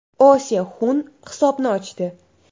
O Se Hun hisobni ochdi.